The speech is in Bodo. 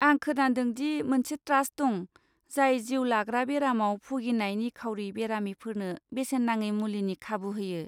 आं खोनादों दि मोनसे ट्रास्ट दं, जाय जिउ लाग्रा बेरामाव भुगिनाय निखावरि बेरामिफोरनो बेसेन नाङि मुलिनि खाबु होयो।